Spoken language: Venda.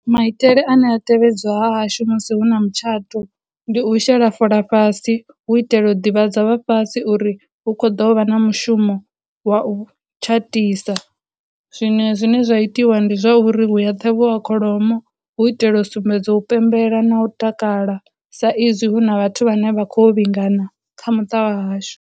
Maitele ane a tevhedzwa hahashu musi hu na mutshato, ndi u shela fola fhasi hu u itela u ḓivhadza vha fhasi uri hu khou ḓo vha na mushumo wa u tshatisa zwinwe zwine zwa itiwa ndi zwauri huya ṱhavhiwa kholomo hu u itela u sumbedza u pembela na u takala sa izwi hu na vhathu vhane vha khou vhingana kha muṱa wa hashu.